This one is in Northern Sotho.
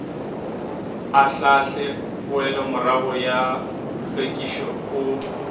ahlaahle poelomorago ya hlwekišo o